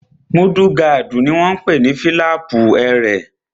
Múdúgáàdì náà ni wọ́n n pè ní fílàpù ẹrẹ̀